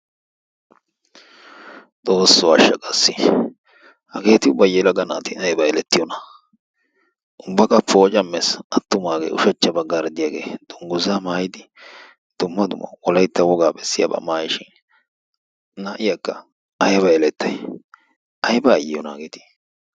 Xoosso asha qassi! Hageeti ubba yelaga naati ayba elettiyona? Ubba qa pooccaamees, attumaagee ushshachcha baggaara diyagee dungguzza maayidi dumma dumma wolaytta wogaa bessiyaba mayiishin, na'iyakka ayba elettay? Ayba ayiyona hageeti?